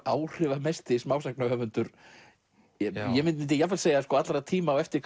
áhrifamesti smásagnahöfundur ég myndi jafnvel segja allra tíma á eftir